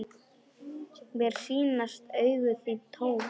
Mér sýnast augu þín tóm.